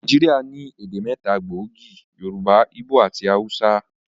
Nàìjíríà ní èdè mẹ́ta gbòógì: Yorùbá, ígbò àti awúsá